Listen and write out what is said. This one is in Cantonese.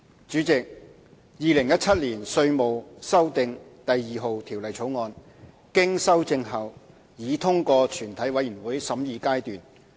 主席，《2017年稅務條例草案》經修正後已通過全體委員會審議階段。